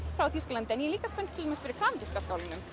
frá Þýskalandi en ég er líka spennt fyrir kanadíska skálanum